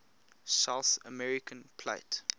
south american plate